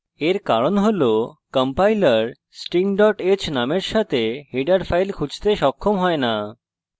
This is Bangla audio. এর কারণ হল compiler sting h নামের সাথে header file খুঁজতে সক্ষম হয় না